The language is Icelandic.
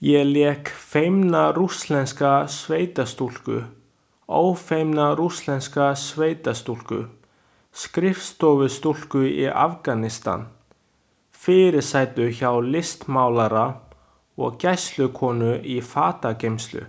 Ég lék feimna rússneska sveitastúlku, ófeimna rússneska sveitastúlku, skrifstofustúlku í Afganistan, fyrirsætu hjá listmálara og gæslukonu í fatageymslu.